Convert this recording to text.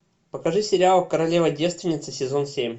покажи сериал королева девственница сезон семь